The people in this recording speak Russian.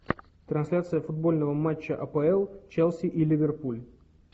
трансляция футбольного матча апл челси и ливерпуль